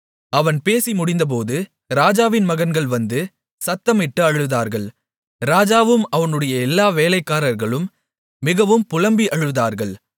அவன் பேசி முடிந்தபோது ராஜாவின் மகன்கள் வந்து சத்தமிட்டு அழுதார்கள் ராஜாவும் அவனுடைய எல்லா வேலைக்காரர்களும் மிகவும் புலம்பி அழுதார்கள்